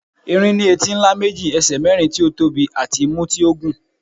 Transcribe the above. erin ní etí ńlá méjì, ẹsẹ mérin tí ó tóbi àti imú tí ó gùn